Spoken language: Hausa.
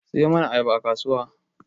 Siyo mana ayaba a kasuwa